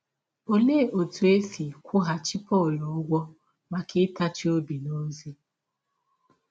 Ọlee ọtụ e si kwụghachi Pọl ụgwọ maka ịtachi ọbi n’ọzi?